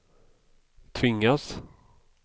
tvingas